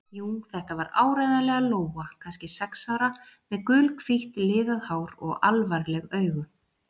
Jú, þetta var áreiðanlega Lóa, kannski sex ára, með gulhvítt liðað hár og alvarleg augu.